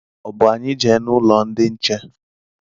Ọ bụ anyị jee n'ụlọ ndị nche?